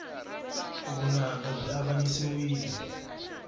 vunanga byi avanyisiwile